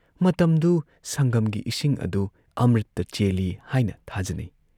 ꯃꯇꯝꯗꯨꯨꯨꯨ ꯁꯪꯒꯝꯒꯤ ꯏꯁꯤꯡ ꯑꯗꯨ ꯑꯃ꯭ꯔꯤꯇ ꯆꯦꯜꯂꯤ ꯍꯥꯏꯅ ꯊꯥꯖꯅꯩ ꯫